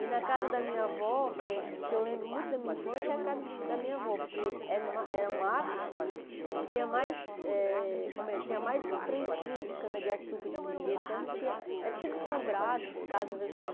E na casa da minha avó, que que eu lembro muito da minha infância, é a casa da minha avó, porque era ma eram matos e tinha mais eh como é tinha mais plantio de cana-de-açúcar, de mangueira, então a gente ia era tudo sombrados, as casas assim.